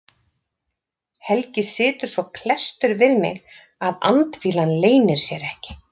Helgi situr svo klesstur við mig að andfýlan leynir sér ekki.